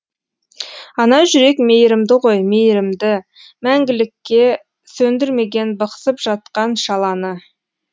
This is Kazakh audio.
ана жүрек мейірімді ғой мейірімді мәңгіліке сөндірмеген бықсып жатқан шаланы